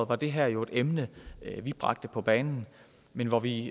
var det her jo et emne vi bragte på bane men hvor vi